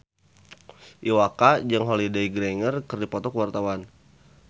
Iwa K jeung Holliday Grainger keur dipoto ku wartawan